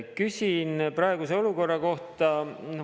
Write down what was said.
Küsin praeguse olukorra kohta.